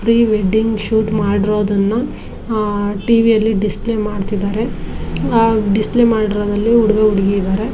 Free wedding shoot ಮಾಡಿರುವುದನ್ನುಅಹ್ TV ಯಲ್ಲಿ display ಮಾಡುತ್ತಿದ್ದಾರೆ ಡಿಸ್ಪ್ಲೇ ಮಾಡಿರೋದಲ್ಲಿ ಹುಡುಗ ಹುಡುಗಿ ಇದ್ದಾರೆ.